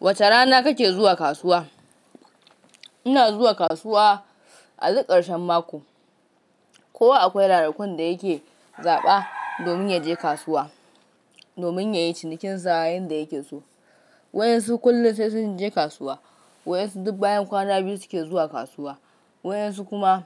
Wace rana kake zuwa kasuwa? Ina zuwa kasuwa a duk ƙarshen mako. Kowa akwai ranakun da yake zaɓa domin ya je kasuwa, domin ya yi cinikinsa yanda yake so. Wayansu kullum sai sun je kasuwa, waɗansu duk bayan kwana biyu suke zuwa kasuwa, waɗansu kuma